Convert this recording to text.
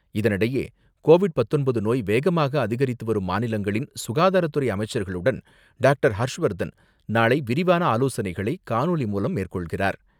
இதனிடையே, கோவிட் பத்தொன்பது நோய் வேகமாக அதிகரித்துவரும் மாநிலங்களின் சுகாதாரத்துறை அமைச்சர்களுடன் டாக்டர்.ஹர்ஷ்வர்தன் நாளை விரிவான ஆலோசனைகளை காணொலி மூலம் மேற்கொள்கிறார்.